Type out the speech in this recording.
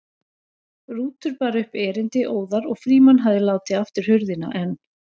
Rútur bar upp erindið óðar og Frímann hafði látið aftur hurðina en